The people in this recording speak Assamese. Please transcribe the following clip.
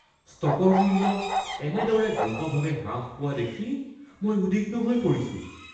ষ্টকৰ মূল্য এনেদৰে দ্ৰুতভাৱে হ্ৰাস পোৱা দেখি মই উদ্বিগ্ন হৈ পৰিছোঁ।